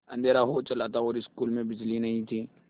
अँधेरा हो चला था और स्कूल में बिजली नहीं थी